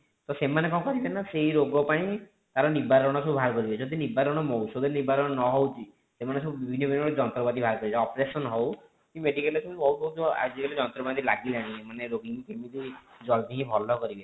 ତ ସେମାନେ କଣ କରିବେ ନା ସେଇ ରୋଗ ପାଇଁ ତାର ନିବାରଣ ସବୁ ବାହାର କରିବେ ଯଦି ନିବାରଣ ଔଷଧ ନିବାରଣ ନ ହଉଛି ସେମାନେ ସବୁ ବିଭିନ୍ନ ବିଭିନ୍ନ ଯନ୍ତ୍ରପାତି ବାହାର କରିବେ operation ହୋଉ କି medical ରେ ବହୁତ ବହୁତ ଆଜିକାଲି ଯନ୍ତ୍ରପାତି ଲାଗିଲାଣି ମାନେ ରୋଗୀକୁ କେମିତି ଜଲ୍ଦି ଭଲ କରିବେ